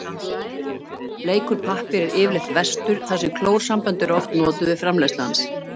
Bleiktur pappír er yfirleitt verstur þar sem klórsambönd eru oft notuð við framleiðslu hans.